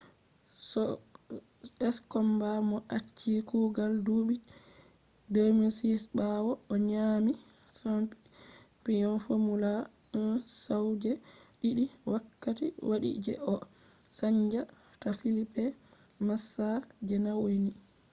skomba mo achi kugal duɓi 2006 ɓawo o nyaami champiyon fomula 1 sau je ɗiɗi wakkati waɗi je o chanja ta felipe masaa je nauni